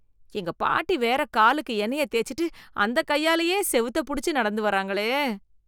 எங்க பாட்டி வேற காலுக்கு எண்ணெய தேச்சிட்டு அந்த கையாலையே செவுத்த புடிச்சு நடந்து வராங்களே.